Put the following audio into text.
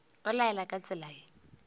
o laela ka tsela ye